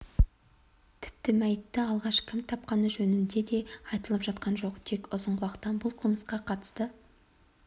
тіпті мәйітті алғаш кім тапқаны жөнінде де айтылып жатқан жоқ тек ұзынқұлақтан бұл қылмысқа қатысты